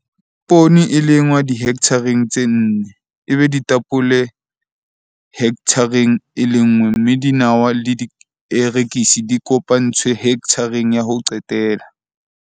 Poone e lengwa dihekthareng tse nne, ebe ditapole hekthareng e lenngwe mme dinawa le dierekisi di kopantswe hekthareng ya ho qetela.